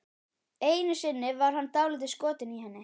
Einu sinni var hann dálítið skotinn í henni.